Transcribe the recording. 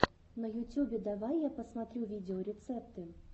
на ютюбе давай я посмотрю видеорецепты